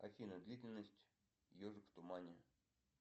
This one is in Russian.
афина длительность ежик в тумане